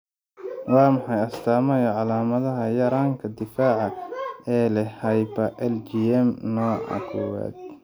Waa maxay astamaha iyo calaamadaha yaranka difaca ee leh hyper IgM nooca kowwaad?